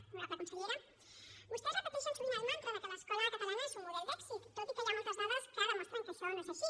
honorable consellera vostès repeteixen sovint el mantra que l’escola catalana és un model d’èxit tot i que hi ha moltes dades que demostren que això no és així